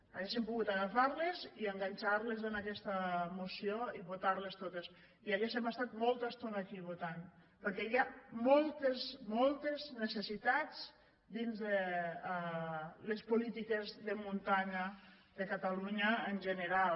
hauríem pogut agafar les i enganxar les en aquesta moció i votar les totes i hauríem estat molta estona aquí votant perquè hi ha moltes moltes necessitats dins de les polítiques de muntanya de catalunya en general